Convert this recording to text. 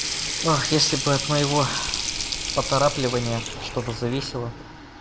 если бы от моего поторапливания что-то зависело